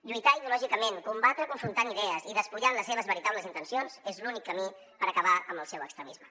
llui·tar ideològicament combatre confrontant idees i despullant les seves veritables in·tencions és l’únic camí per acabar amb el seu extremisme